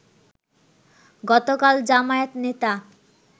গতকাল জামায়াত নেতা